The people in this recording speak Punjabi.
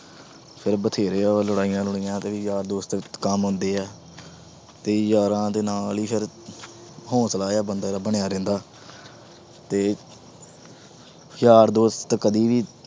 ਫਿਰ ਬਥੇਰੇ ਆਹ ਲੜਾਈਆਂ ਲੜੁਈਆਂ ਆਲੇ ਵੀ ਯਾਰ ਦੋਸਤ ਕੰਮ ਆਉਂਦੇ ਆ। ਤੇ ਯਾਰਾ ਦੇ ਨਾਲ ਈ ਹੌਂਸਲਾ ਜਾ ਫੇਰ ਬੰਦੇ ਦਾ ਬਣਿਆ ਰਹਿੰਦਾ ਤੇ ਯਾਰ ਦੋਸਤ ਕਦੀ ਵੀ